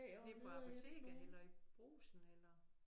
Nede på apoteket eller i Brugsen eller